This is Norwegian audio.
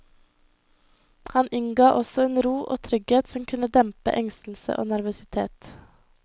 Han innga også en ro og trygghet som kunne dempe engstelse og nervøsitet.